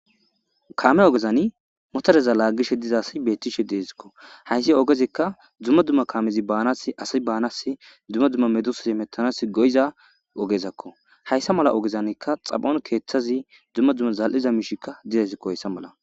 kaame ogezani motareza laaggishe dizasi bettishe deesikko hayssi ogezikka dzumma dumma kaamezi baanas asi baanas dzumma dumma medus mettanas goyiza ogezakko hayssa mala ogezanikka xabon keeththazi dzumma dzumma zal7iza miishikka didesikkohoyssa mala